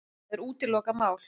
Það er útilokað mál.